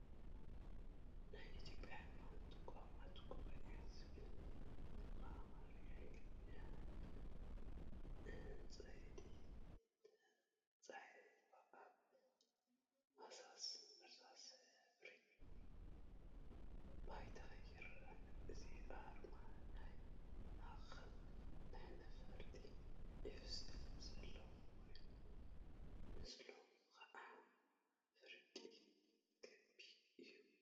ናይ ኢትዮጵያ ሃይማኖት ተቋማት ጉባኤ ዝብል ብአምሓርኛን እንግሊዘኛን ብዕንቋይ ተፃሒፉ አብ ሃሳስ እርሳስ ሕብሪ ድሕረ ባይታ ይርከብ፡፡ እዚ አርማ አብ ማእከሉ ናይ ነፋሪት ዒፍ ስእሊ ዘለዎ ኮይኑ፣ ምስሉ ከዓ ፍርቂ ክቢ እዩ፡፡